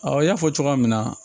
Awɔ n y'a fɔ cogoya min na